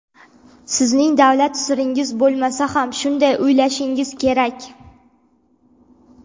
Sizning davlat siringiz bo‘lmasa ham shunday o‘ylashingiz kerak.